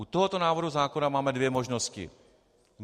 U tohoto návrhu zákona máme dvě možnosti.